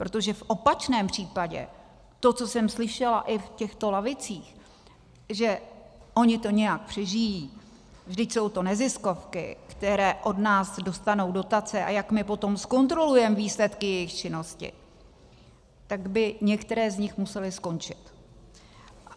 Protože v opačném případě to, co jsem slyšela i v těchto lavicích, že oni to nějak přežijí, vždyť jsou to neziskovky, které od nás dostanou dotace, a jak my potom zkontrolujeme výsledky jejich činnosti, tak by některé z nich musely skončit.